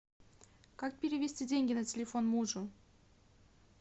как перевести деньги на телефон мужу